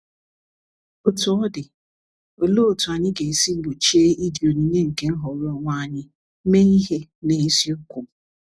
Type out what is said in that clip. Otú ọ dị, olee otú anyị ga-esi gbochie iji onyinye nke nhọrọ onwe anyị mee ihe n’eziokwu?